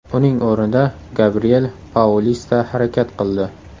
Uning o‘rnida Gabriel Paulista harakat qildi.